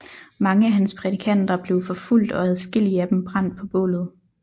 Mange af hans prædikanter blev forfulgt og adskillige af dem brændt på bålet